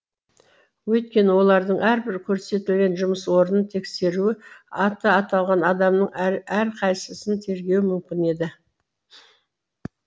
өйткені олардың әрбір көрсетілген жұмыс орнын тексеруі аты аталған адамның әрқайсысын тергеуі мүмкін еді